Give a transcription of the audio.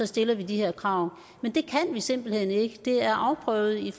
stiller de her krav men det kan vi simpelt hen ikke det er afprøvet